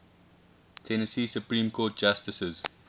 tennessee supreme court justices